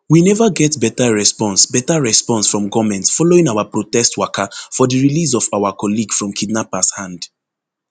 we neva get beta response beta response from goment following our protest waka for di release of our colleague from kidnappers hand